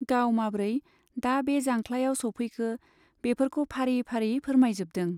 गाव माब्रै दा बे जांख्लायाव सौफैखो बेफोरखौ फारि फारि फोरमायजोबदों।